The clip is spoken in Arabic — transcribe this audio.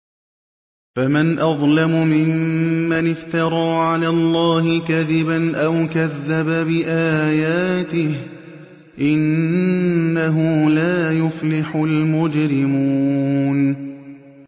فَمَنْ أَظْلَمُ مِمَّنِ افْتَرَىٰ عَلَى اللَّهِ كَذِبًا أَوْ كَذَّبَ بِآيَاتِهِ ۚ إِنَّهُ لَا يُفْلِحُ الْمُجْرِمُونَ